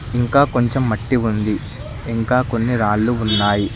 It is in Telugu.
ఇంకా కొంచెం మట్టి ఉంది ఇంకా కొన్ని రాళ్ళు ఉన్నాయి.